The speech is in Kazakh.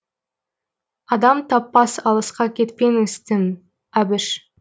адам таппас алысқа кетпеңіз тым әбіш